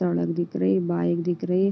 सड़क दिख रही बाइक दिख रही।